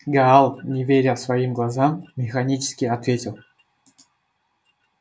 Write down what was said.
гаал не веря своим глазам механически ответил